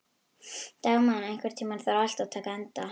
Dagmann, einhvern tímann þarf allt að taka enda.